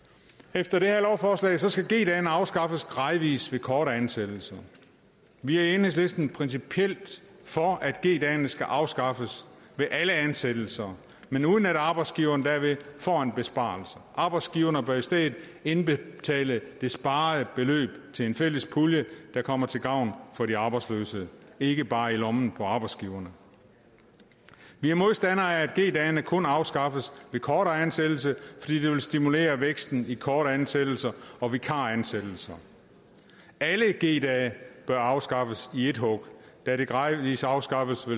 efter det her lovforslag skal g dagene afskaffes gradvis ved korte ansættelser vi er i enhedslisten principielt for at g dagene skal afskaffes ved alle ansættelser men uden at arbejdsgiveren derved får en besparelse arbejdsgiverne bør i stedet indbetale det sparede beløb til en fælles pulje der kommer til gavn for de arbejdsløse og ikke bare havner i lommen på arbejdsgiverne vi er modstandere af at g dagene kun afskaffes ved kortere ansættelse fordi det vil stimulere væksten i korte ansættelser og vikaransættelser alle g dage bør afskaffes i ét hug da en gradvis afskaffelse